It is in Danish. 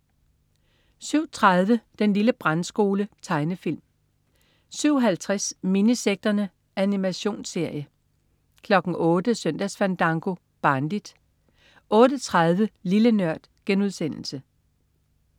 07.30 Den lille brandskole. Tegnefilm 07.50 Minisekterne. Animationsserie 08.00 Søndagsfandango. Barnligt 08.30 Lille Nørd*